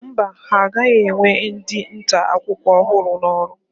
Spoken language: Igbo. Mba, ha agaghị ewe ndị nta akụkọ ọhụrụ n'ọrụ.